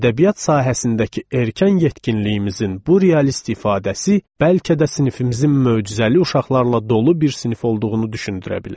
Ədəbiyyat sahəsindəki erkən yetkinliyimizin bu realist ifadəsi bəlkə də sinifimizin möcüzəli uşaqlarla dolu bir sinif olduğunu düşündürə bilər.